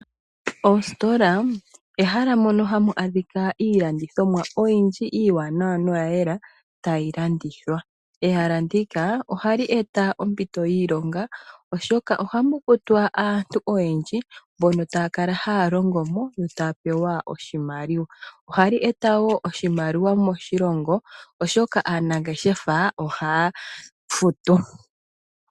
Oostola ehala mono hamu adhika iilandithomwa oyindji iiwanawa noya yela tayilandithwa. Ehala ndika ohali eta ompito yiilonga, oshoka ohamukutwa aantu oyendji mbono taya kala haya longo mo yo taya pewa oshimaliwa. Ohali eta woo oshimaliwa moshilongo, oshoka aanangeshefa ohaya futu.